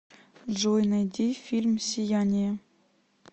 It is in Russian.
джой найди фильм сияние